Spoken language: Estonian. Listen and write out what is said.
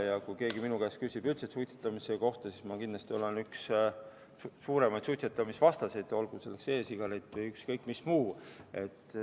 Ja kui keegi minu käest üldse suitsetamise kohta küsib, siis ma kindlasti olen üks suurimaid suitsetamisvastaseid, olgu see e-sigaret või ükskõik mis muu.